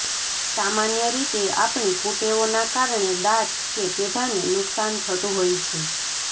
સામાન્ય રીતે આપણી કુટેવોના કારણે દાંત કે પેઢાને નુકશાન થતું હોય છે